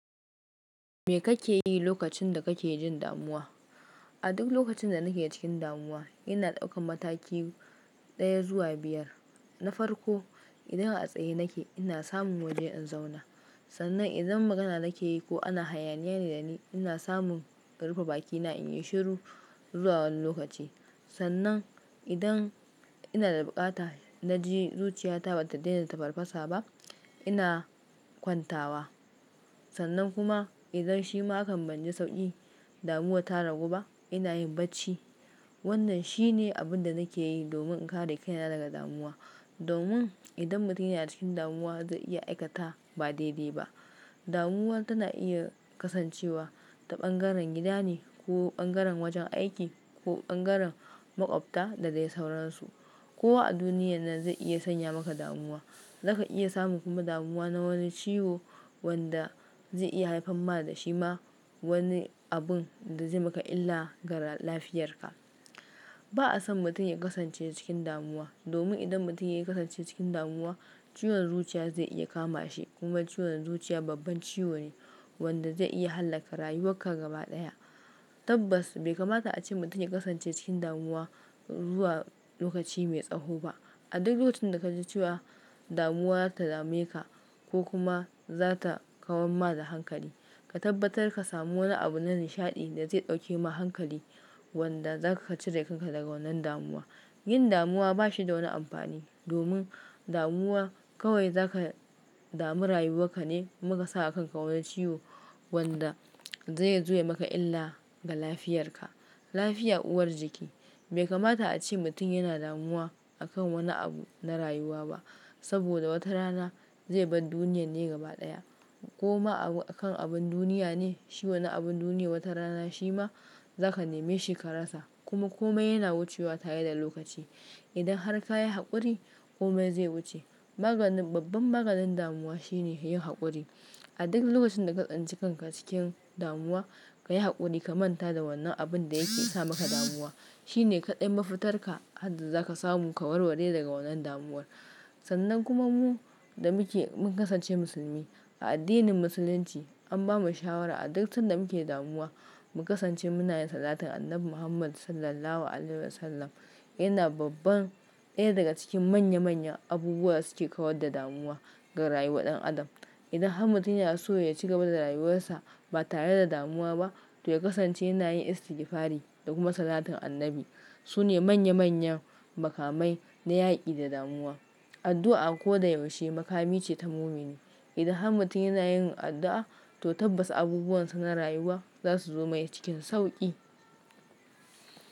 Me kake yi lokacin da kake jin damuwa? A duk lokacin da nake cikin damuwa, ina daukan mataki ɗaya zuwa biyar. Na farko, idan a tsaye nake, ina samun waje in zauna. Sannan idan magana nake yi ko ana hayaniya ne da ni, ina samun karufe bakina in yi shiru zuwa wani lokaci. Sannan idan ina da buƙata na ji zuciyata bata daina tafarfasa ba, ina kwantawa. Sannan kuma idan shima hakan banji sauƙi, damuwa ta ragu ba, ina yin bacci. Wannan shine abin da nake yi domin in kare kaina daga damuwa. Domin idan mutum yana cikin damuwa zai iya aikata ba daidai ba. Damuwa tana iya kasancewa ta bangaren gida ne ko bangaren wajen aiki ko bangaren maƙwabta da dai sauransu. Kowa a duniya nan zai iya sanya maka damuwa. Zaka iya samun kuma damuwa na wani ciwo wanda zai iya haifan ma da shi ma wani abun da zai maka illa ga lafiyarka. Ba'a son mutum ya kasance cikin damuwa. Domin idan mutum ya kasance cikin damuwa, ciwon zuciya zai iya kama shi kuma ciwon zuciya babban ciwo ne wanda zai iya hallaka rayuwarka gaba ɗaya. Tabbas bai kamata a ce mutum ya kasance cikin damuwa zuwa lokaci mai tsaho ba. A duk lokacin da ka ji cewa damuwa za ta dame ka ko kuma za ta kawon ma da hankali, ka tabbatar ka samu wani abu na nishaɗi da zai ɗauke ma hankali wanda za kacire kanka daga wannan damuwa. Yin damuwa ba shi da wani amfani. Domin damuwa kawai zaka dami rayuwarka ne kuma ka sa a kanka wani ciwo wanda zai zo yayi maka illa ga lafiyarka. Lafiya uwar jiki. Bai kamata a ce mutum yana damuwa akan wani abu na rayuwa ba. Saboda wata rana zai bar duniyar ne gaba daya. Kuma akan abun duniya ne, shi wani abun duniya wata rana shi ma zaka neme shi ka rasa. Kuma kome yana wucewa tare da lokaci. Idan har ka yi haƙuri, kome zai wuce. Maganin, babban maganin damuwa shine yin haƙuri. A duk lokacin da ka tsani kanka cikin damuwa, ka yi haƙuri ka manta da wannan abun da yake sa maka damuwa. Shine kaɗai mafitar ka har da za ka samu ka warware daga wannan damuwar. Sannan kuma mu da muke, mun kasance musulmi. A addinin musulunci an bamu shawara a duk san da muke damuwa mu kasance munayin salatin Annabi Muhammad Sallallahu Alaihi Wasallam. Yana babban, ɗaya daga cikin manya manyan abubuwan da suke kawar da damuwa ga rayuwar ɗan adam. Idan har mutum yana so ya ci gaba da rayuwarsa ba tare da damuwa ba, to ya kasance yana yin istigfari da kuma salatin annabi. Sune manya manyan makamai na yaƙi da damuwa. Addu'a a ko da yaushe makami ce ta mumini. Idan har mutum yana yin addu'a, to tabbas abubuwansa na rayuwa za su zo mai cikin sauƙi.